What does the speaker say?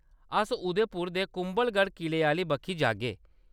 अस उदयपुर दे कुम्भलगढ़ किले आह्‌ली बक्खी जागे।